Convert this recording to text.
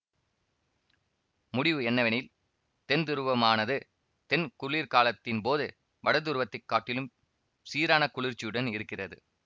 முடிவு என்னவெனில் தென் துருவமானது தென் குளிர்காலத்தின்போது வடதுருவத்தைக் காட்டிலும் சீரான குளிர்ச்சியுடன் இருக்கிறது